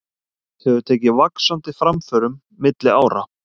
Hefur tekið vaxandi framförum milli ára.